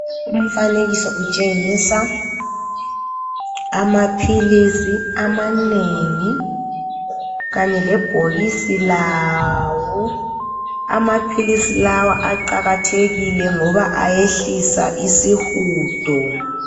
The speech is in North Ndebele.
Umfanekiso utshengisa amaphilisi amanengi kanye lebhokisi lawo. Amaphilisi lawa aqakathekile ngoba ayehlisa isihudo.